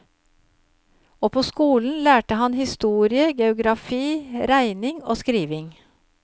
Og på skolen lærte han historie, geografi, regning og skriving.